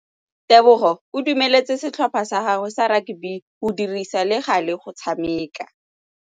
Tebogô o dumeletse setlhopha sa gagwe sa rakabi go dirisa le galê go tshameka.